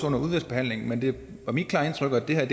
under udvalgsbehandlingen men det var mit klare indtryk at det her